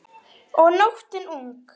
Og nóttin ung.